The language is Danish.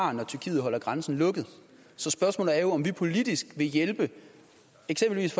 har når tyrkiet holder grænsen lukket så spørgsmålet er jo om vi politisk vil hjælpe eksempelvis